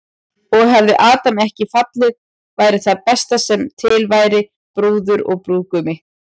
Og hefði Adam ekki fallið væri það besta sem til væri, brúður og brúðgumi.